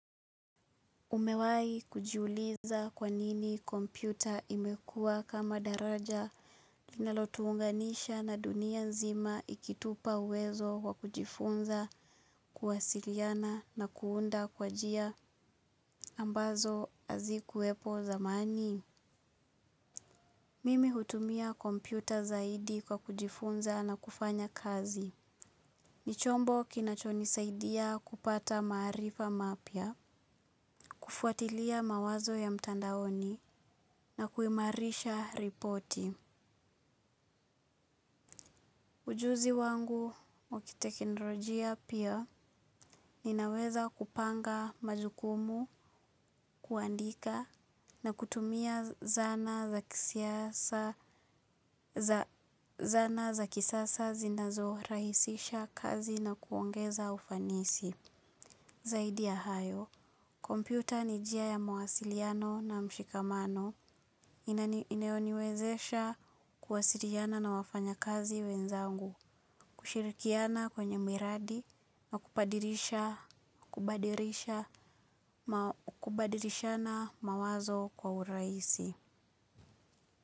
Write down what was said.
Umewai kujiuliza kwanini kompyuta imekua kama daraja linalotuunganisha na dunia nzima ikitupa uwezo kwa kujifunza kuwasiliana na kuunda kwa jia ambazo hazikuwepo zamani. Mimi hutumia kompyuta zaidi kwa kujifunza na kufanya kazi. Nichombo kinachonisaidia kupata marifa mapya, kufuatilia mawazo ya mtandaoni na kuimarisha ripoti. Ujuzi wangu wakitekinrojia pia ninaweza kupanga majukumu, kuandika na kutumia zana za zana za kisasa zinazorahisisha kazi na kuongeza ufanisi. Zaidi ya hayo, kompyuta ni jia ya mawasiliano na mshikamano inayoniwezesha kuwasiliana na wafanya kazi wenzangu, kushirikiana kwenye miradi na kupadirisha na mawazo kwa uraisi.